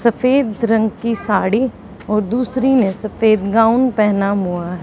सफेद रंग की साड़ी और दूसरी ने सफेद गाउन पहना मुं--